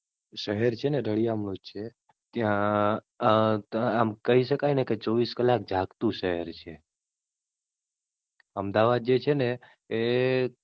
શહેર છે ને રળીયામણું જ છે. ત્યાં તને આમ કહી શકાય ને કે ચોવીસ કલાક જાગતું શહેર છે. અમદાવાદ જે છે ને એ,